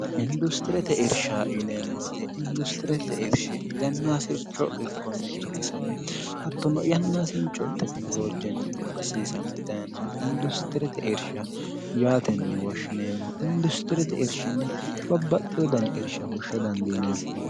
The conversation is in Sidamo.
industirete irsha yineemmoote industirete irshi yannaasircho irkonni irkisami hattono yannaasincho tekinoloojinni amadisiisame dhayenoh industirete irsha yaatenni woshshineemmo industirete irshinni babbaxxi wodani irsha hushsha dandiine